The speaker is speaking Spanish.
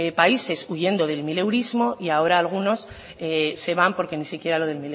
países huyendo del mileurismo y ahora algunos se van porque ni siquiera lo del